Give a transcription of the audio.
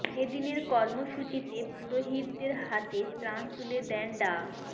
এ দিনের কর্মসূচিতে পুরোহিতদের হাতে ত্রাণ তুলে দেন ডা